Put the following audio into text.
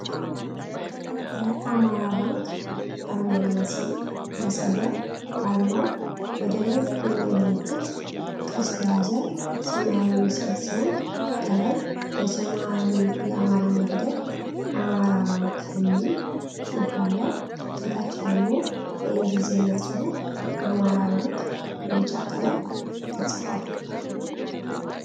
የ"አማራ ባንክ"አርማና ስም ያሳያል። አርማው ወደ ላይ የሚያመላክት ቀስት የያዘ ሰማያዊ ምስል ሲሆን፣ ከላይ በሰማያዊ የአማርኛ ፊደል “አማራ ባንክ” የሚል ጽሑፍ አለ። ከታች ደግሞ የእንግሊዝኛ ጽሑፍ "አማራ ባንክ" በቢጫ ቀለም ተጽፏል።